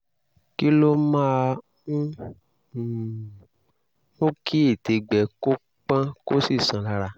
kí ló máa ń um mú kí ètè gbẹ kó pọ́n kó sì sán lára?